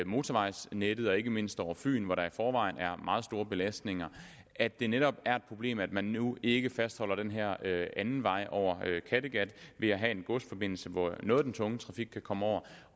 motorvejsnettet ikke mindst over fyn hvor der i forvejen er meget store belastninger og at det netop er et problem at man nu ikke fastholder den her anden vej over kattegat ved at have en godsforbindelse hvor noget af den tunge trafik kan komme over